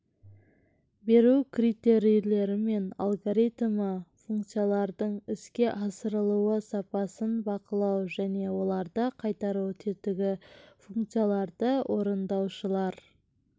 беру критерийлері мен алгоритмі функциялардың іске асырылу сапасын бақылау және оларды қайтару тетігі функцияларды орындаушылар